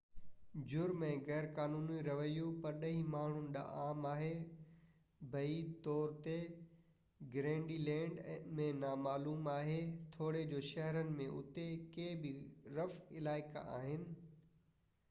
جرم ۽ غيرقانوني رويو پرڏيهي ماڻهن ڏانهن عام آهي بعيد طور تي گرينلينڊ ۾ نامعلوم آهي توڙي جو شهرن ۾ اتي ڪي به رف علائقا آهن